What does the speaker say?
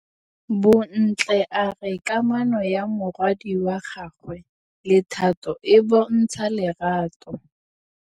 Bontle a re kamanô ya morwadi wa gagwe le Thato e bontsha lerato.